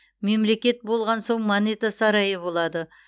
мемлекет болған соң монета сарайы болады